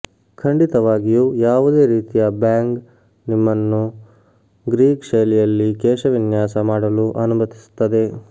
ಖಂಡಿತವಾಗಿಯೂ ಯಾವುದೇ ರೀತಿಯ ಬ್ಯಾಂಗ್ ನಿಮ್ಮನ್ನು ಗ್ರೀಕ್ ಶೈಲಿಯಲ್ಲಿ ಕೇಶವಿನ್ಯಾಸ ಮಾಡಲು ಅನುಮತಿಸುತ್ತದೆ